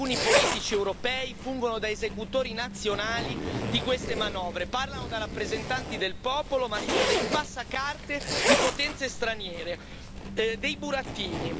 Oggi alcuni politici europei fungono da esecutori nazionali di queste manovre, parlano da rappresentanti del popolo ma sono dei passacarte di potenze straniere, dei burattini.